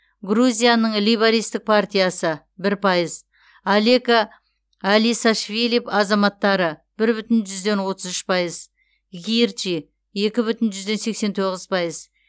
грузияның лейбористік партиясы бір пайыз алеко элисашвили азаматтары бір бүтін жүзден отыз үш пайыз гирчи екі бүтін жүзден сексен тоғыз пайыз